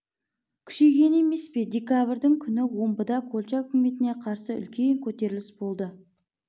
күшейгені емес пе декабрьдің күні омбыда колчак үкіметіне қарсы үлкен көтеріліс болды